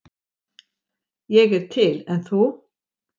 Ég er til, en þú?